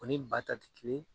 O ni ba ta tɛ kelen